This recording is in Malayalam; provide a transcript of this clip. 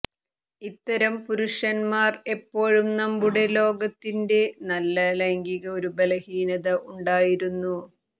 ഇത്തരം പുരുഷന്മാർ എപ്പോഴും നമ്മുടെ ലോകത്തിന്റെ നല്ല ലൈംഗിക ഒരു ബലഹീനത ഉണ്ടായിരുന്നു